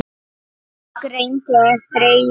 Fólk reyndi að þreyja.